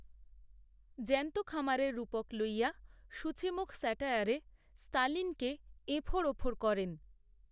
জ্যন্ত খামারের রূপক লইয়া সূচিমুখ স্যাটায়ারে, স্তালিনকে, এফোঁড়, ওফোঁড় করেন